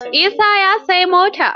Isa ya siyi mota.